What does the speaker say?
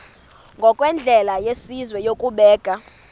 ngokwendlela yesizwe yokubeka